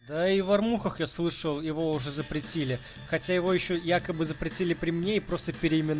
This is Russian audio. да и в армухах я слышал его уже запретили хотя его ещё якобы запретили при мне и просто переименова